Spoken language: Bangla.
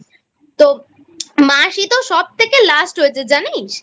তো মাসি তো সবথেকে Last হয়েছে জানিস।